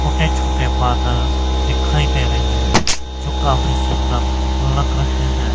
छोटे छोटे बादल दिखाई दे रहे हैं जो काफी सुंदर लग रहे हैं।